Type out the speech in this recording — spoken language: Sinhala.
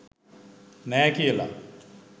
නෑ කියල.